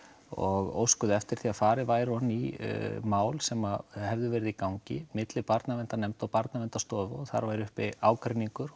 og óskuðu eftir því að farið væri ofan í mál sem hefðu verið í gangi milli Barnaverndarnefndar og Barnaverndarstofu og þar væri uppi ágreiningur